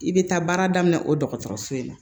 I bɛ taa baara daminɛ o dɔgɔtɔrɔso in na